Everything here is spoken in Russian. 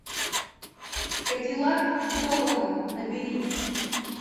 кадиллак долана набери